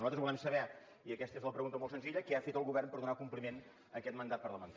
nosaltres volem saber i aquesta és la pregunta molt senzilla què ha fet el govern per donar compliment a aquest mandat parlamentari